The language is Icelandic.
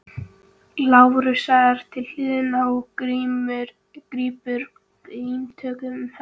Lárusar til hliðar og grípur glímutökum um hann.